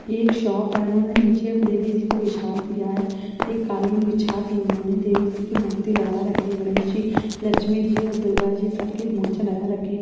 ये एक शॉप है उन्होंने नीचे एक देवी जी को बिछा दिया है। एक कालीन बिछा दी उन्होंने देवी जी की मूर्ति लगा रखी गणेश जी लक्ष्मी जी और दुर्गा जी सब की मूर्तिया लगा रखी --